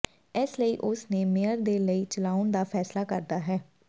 ਇਸ ਲਈ ਉਸ ਨੇ ਮੇਅਰ ਦੇ ਲਈ ਚਲਾਉਣ ਦਾ ਫੈਸਲਾ ਕਰਦਾ ਹੈ